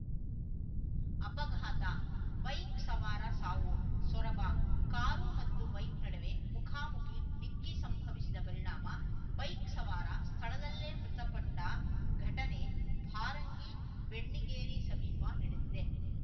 ಅಪಘಾತ ಬೈಕ್‌ ಸವಾರ ಸಾವು ಸೊರಬ ಕಾರು ಮತ್ತು ಬೈಕ್‌ ನಡುವೆ ಮುಖಾಮುಖಿ ಡಿಕ್ಕಿ ಸಂಭವಿಸಿದ ಪರಿಣಾಮ ಬೈಕ್‌ ಸವಾರ ಸ್ಥಳದಲ್ಲೇ ಮೃತಪಟ್ಟಘಟನೆ ಭಾರಂಗಿಬೆಣ್ಣಿಗೇರಿ ಸಮೀಪ ನಡೆದಿದೆ